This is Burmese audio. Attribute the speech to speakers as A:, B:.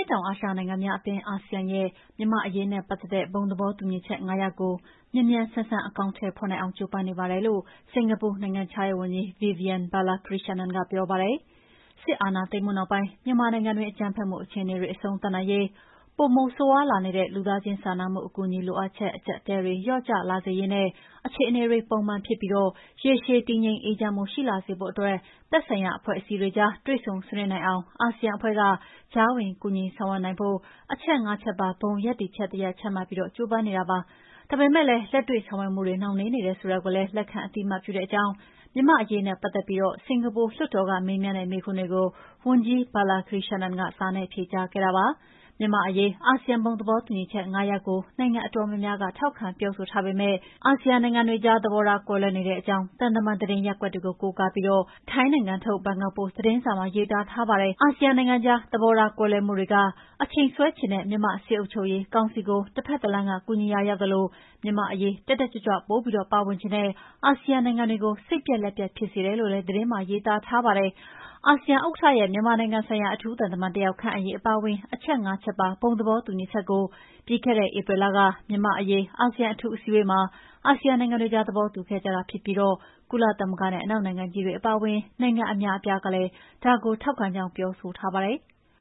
A: တောင်အာရှနိုင်ငံများအသင်း အာဆီယံရဲ့ မြန်မာ့အရေးနဲ့ပတ်သက်တဲ့ ဘုံသဘောတူညီချက် ၅ ရပ်ကို မြန်မြန်ဆန်ဆန် အကောင်အထည်ဖော်နိုင်အောင် ကြိုးပမ်းနေပါတယ်လို့ စင်္ကာပူနိုင်ငံခြားရေးဝန်ကြီး Vivian Balakrishnan က ပြောပါတယ်။ စစ်အာဏာသိမ်းမှုနောက်ပိုင်း မြန်မာနိုင်ငံတွင်း အကြမ်းဖက်မှု အခြေအနေတွေ အဆုံးသတ်နိုင်ရေး၊ ပိုမို ဆိုးရွားလာနေတဲ့ လူသားချင်း စာနာမှုအကူအညီလုပ်အပ်ချက် အကြပ်အတည်းတွေ လျော့ကျလာစေရေးနဲ့ အခြေအနေတွေ ပုံမှန်ပြန်ဖြစ်ပြီး ရေရှည်တည်ငြိမ် အေးချမ်းမှု ရှိလာစေဖို့အတွက် သက်ဆိုင်ရာ အဖွဲ့အစည်းတွေအကြား တွေ့ဆုံ ဆွေးနွေးနိုင်အောင် အာဆီယံအဖွဲ့က ကြားဝင် ကူညီဆောင်ရွက်နိုင်ဖို့ အချက် ၅ ချက်ပါ ဘုံရပ်တည်ချက်တရပ်ချမှတ်ပြီး ကြိုးပမ်းနေတာပါ။ ဒါပေမယ့်လည်း လက်တွေ့ ဆောင်ရွက်မှုတွေ နှောင့်နှေးနေတယ်ဆိုတာကိုလည်း လက်ခံအသိအမှတ်ပြုတဲ့အကြောင်း မြန်မာ့အရေးနဲ့ပတ်သက်ပြီး စင်္ကာပူလွှတ်တော်က မေးမြန်းတဲ့မေးခွန်းတွေကို ဝန်ကြီး Balakrishnan စာနဲ့ဖြေကြားခဲ့ပါတယ်။ မြန်မာ့အရေး အာဆီယံ ဘုံသဘောတူညီချက် ၅ ရပ်ကို နိုင်ငံအတော်များများက ထောက်ခံ ပြောဆိုထားပေမဲ့၊ မြန်မာနိုင်ငံဆိုင်ရာ အထူးသံတမန် ခန့်အပ်ရေးမှာတော့ အာဆီယံနိုင်ငံတွေအကြား သဘောထား ကွဲလွဲနေတဲ့အကြောင်း သံတမန်သတင်းရပ်ကွက်တွေကို ကိုးကားပြီး ထိုင်းနိုင်ငံထုတ် ဘန်ကောက်ပို့စ် သတင်းစာမှာ ရေးသားထားပါတယ်။ အာဆီယံနိုင်ငံတွေအကြား သဘောထားကွဲလွဲမှုတွေက အချိန်ဆွဲချင်တဲ့ မြန်မာစစ်အုပ်ချုပ်ရေး ကောင်စီကိုတဖက်က ကူညီရာရောက်သလို၊ မြန်မာ့အရေး တက်တက်ကြွကြွ ပိုပြီးပါဝင်ချင်တဲ့ အာဆီယံနိုင်ငံတွေကို စိတ်ပျက်လက်ဖြစ်စေတယ်လို့လည်း သတင်းမှာ ရေးသားထားပါတယ်။ အာဆီယံ ဥက္ကဋ္ဌရဲ့ မြန်မာနိုင်ငံဆိုင်ရာအထူးသံမန်တယောက် ခန့်အပ်ရေး အပါအဝင် အချက် ၅ ချက်ပါဘုံသဘောတူညီချက်ကို ပြီးခဲ့တဲ့ ဧပြီလက မြန်မာ့အရေး အာဆီယံ အထူးအစည်းအဝေးမှာ အာဆီယံနိုင်ငံတွေကြား သဘောတူခဲ့ကြတာဖြစ်ပြီး ကုလသမဂ္ဂနဲ့ အနောက်နိုင်ငံကြီးတွေ အပါအဝင် နိုင်ငံအများအပြားကလည်း ဒါကို ထောက်ခံကြောင်း ပြောဆိုထားကြပါတယ်။